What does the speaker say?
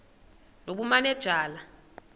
nobumanejala